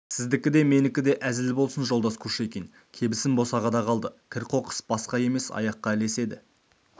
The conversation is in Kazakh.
сіздікі де менікі де әзіл болсын жолдас кушекин кебісім босағада қалды кір-қоқыс басқа емес аяққа ілеседі